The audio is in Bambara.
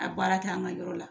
A baara kɛ an ka yɔrɔ la.